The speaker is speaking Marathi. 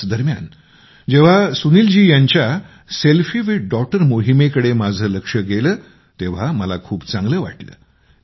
याच दरम्यान जेव्हा सुनील जी यांच्या सेल्फी विथ डॉटर मोहीमेकडे माझं लक्ष गेलं तेव्हा मला खूप चांगलं वाटलं